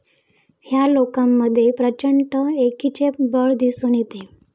या लोकांमध्ये प्रचंड एकीचे बळ दिसून येते.